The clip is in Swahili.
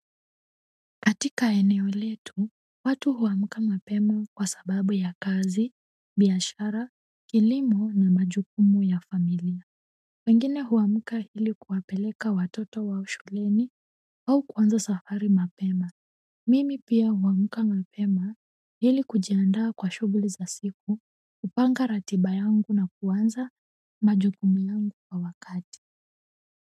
Katika eneo letu, watu huamka mapema kwa sababu ya kazi, biashara, kilimo na majukumu ya familia. Wengine huamka ili kuwapeleka watoto wao shuleni au kuanza safari mapema. Mimi pia huamka mapema hili kujiandaa kwa shughuli za siku kupanga ratiba yangu na kuanza majukumu yangu kwa wakati.